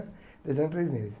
Dois anos e três meses.